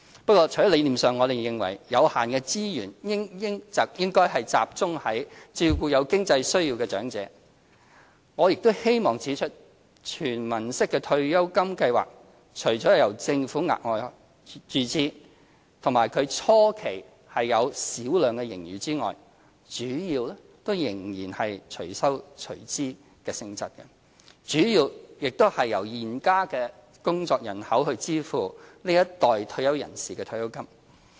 不過，除了理念上我們認為有限的資源應集中照顧有經濟需要的長者，我也希望指出，"全民式"退休金計劃除了由政府額外注資，以及初期有小量盈餘外，主要仍屬"隨收隨支"性質，主要由現時的工作人口支付這一代退休人士的退休金。